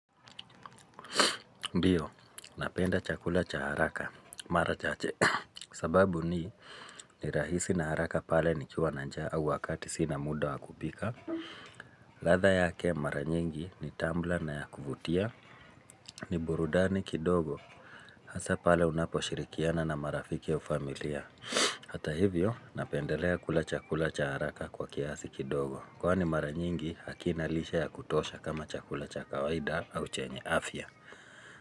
Ndio, napenda chakula cha haraka, mara chache, sababu ni ni rahisi na haraka pale ni kiwa na njaa wakati sina muda wakupika, radha yake mara nyingi ni tamu na ya kuvutia, ni burudani kidogo, hasa pale unaposhirikiana na marafiki au familia, hata hivyo napendelea kula chakula cha haraka kwa kiasi kidogo, kwa ni mara nyingi hakinalisha ya kutosha kama chakula cha kawaida au chenye afya.